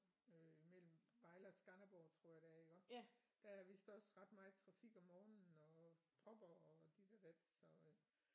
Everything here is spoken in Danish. Øh mellem Vejle og Skanderborg tror jeg det er iggå der er vist også ret meget trafik om morgenen og propper og dit og dat så øh